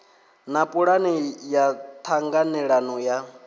na pulane ya ṱhanganelano ya